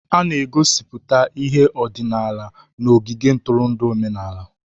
A na-egosiputa ihe ọdịnala n'ogige ntụrụndụ omenala.